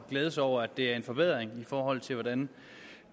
glæde sig over at det er en forbedring i forhold til hvordan